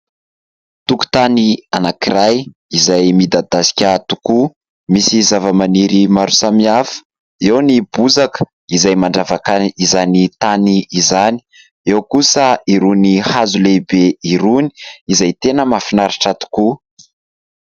Tokotany anankiray izay midadasika tokoa. Misy zavamaniry maro samihafa, eo ny bozaka izay mandravaka izany tany izany, eo kosa irony hazo lehibe irony izay tena mahafinaritra tokoa.